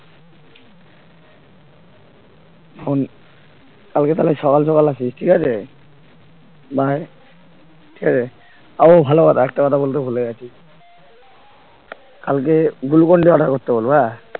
phone কালকে তাহলে সকাল সকাল আসিস ঠিক আছে ভাই ঠিক আছে ও ভালো কথা একটা কথা বলতে ভুলে গেছি কালকে glucon d order করতে বলবো হ্যাঁ